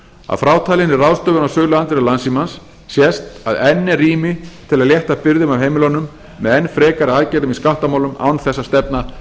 að frátalinni ráðstöfun á söluandvirði landssímans sést að enn er rými til að létta byrðum af heimilunum með enn frekari aðgerðum í skattamálum án þess að stefna